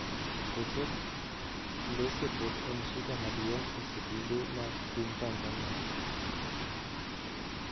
Koso clese pod en shida maduong e skunde ma piny Tanzania.